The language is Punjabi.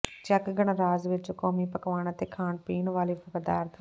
ਚੈੱਕ ਗਣਰਾਜ ਵਿਚ ਕੌਮੀ ਪਕਵਾਨ ਅਤੇ ਪੀਣ ਵਾਲੇ ਪਦਾਰਥ